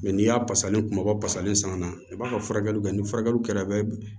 n'i y'a salen kumabaw fasalen san ka na i b'a ka furakɛliw kɛ ni furakɛliw kɛra a bɛ